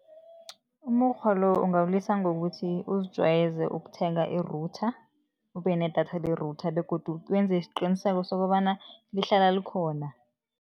Umukghwa lo ungawulisa ngokuthi uzijwayeze ukuthenga i-router, ube nedatha le-router begodu wenze isiqiniseko sokobana lihlala likhona.